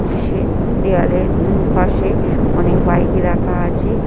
অফিসে দেয়ালের উম পাশে অনেক বাইক রাখা আছে।